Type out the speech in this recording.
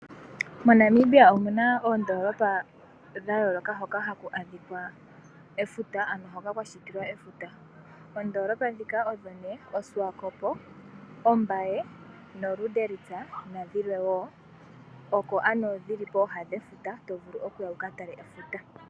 MoNamibia omuna oondolopa ndhoka hadhi monika efuta ano hoka kwashitilwa efuta. Oondolopa ongaashi, Swakopmund, walvis bay, lundritz nadhilwe oko ano tovulu okuya wukatale efuta.